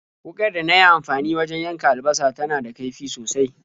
Wuƙar da na yi amfani wajen yanka albasa tana da kaifi sosai.